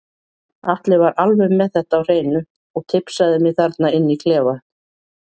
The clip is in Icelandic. Atli var alveg með þetta á hreinu og tipsaði mig þarna inni í klefa.